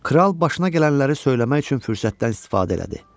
Kral başına gələnləri söyləmək üçün fürsətdən istifadə elədi.